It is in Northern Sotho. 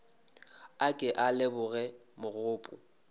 a ke a leboga mogopo